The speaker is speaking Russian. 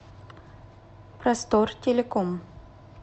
простор телеком